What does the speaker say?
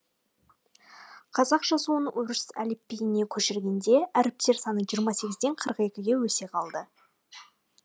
қазақ жазуын орыс әліпбиіне көшіргенде әріптер саны жиырма сегізден қырық екіге өсе қалды